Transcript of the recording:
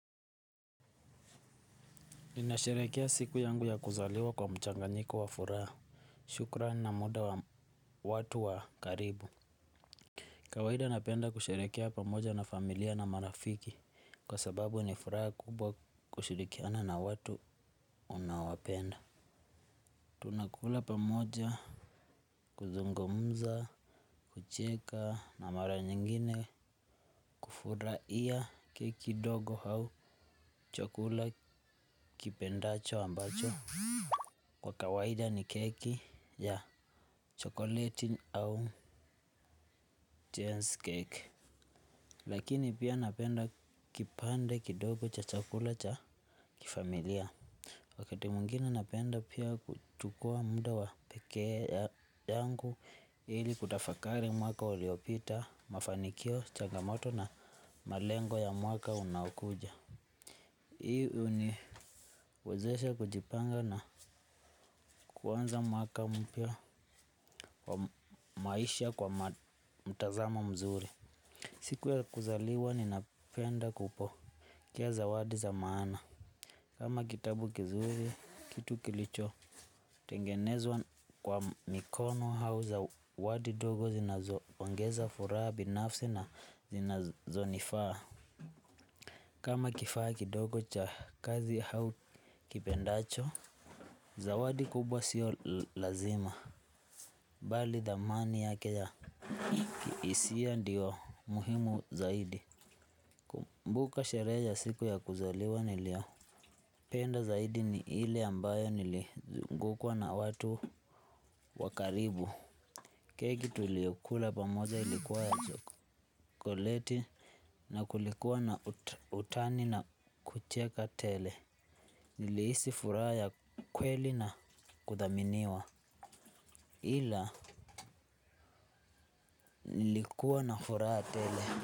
Ninasherehekea siku yangu ya kuzaliwa kwa mchanganyiko wa furaha. Shukrani na muda wa watu wa karibu. Kawaida napenda kusherehekea pamoja na familia na marafiki. Kwa sababu ni furaha kubwa kushirikiana na watu unaowapenda. Tunakula pamoja. Kuzungumza. Kucheka na mara nyingine. Kufurahia keki dogo au. Chakula kipendacho ambacho kwa kawaida ni keki ya chokoleti au chance cake. Lakini pia napenda kipande kidogo cha chakula cha kifamilia. Wakati mwingine napenda pia kuchukua mda wa peke ya yangu ili kutafakari mwaka uliopita, mafanikio, changamoto na malengo ya mwaka unaokuja. Hii huniwezesha kujipanga na kuanza mwaka mpya kwa maisha kwa mtazamo mzuri. Siku ya kuzaliwa ninapenda kupokea zawadi za maana. Kama kitabu kizuri, kitu kilichotengenezwa kwa mikono au zawadi dogo zinaoongeza furaha binafsi na zinazonifaa. Kama kifaa kidogo cha kazi hau kipendacho zawadi kubwa sio lazima. Bali dhamani yake ya kihisia ndio muhimu zaidi Mbuka sherehe ya siku ya kuzaliwa niliyopenda zaidi ni ile ambayo niligukwa na watu wa karibu. Keki tuliyokula pamoja ilikuwa ya chokoleti. Na kulikuwa na utani na kucheka tele. Nilihisi furaha ya kweli na kuthaminiwa. Ila, nilikuwa na furaha tele.